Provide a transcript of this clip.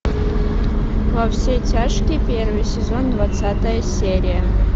во все тяжкие первый сезон двадцатая серия